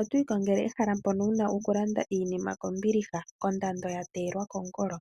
Otwii kongele ehala mpono wuna okulanda iinima kondando ya teelwa kongolo?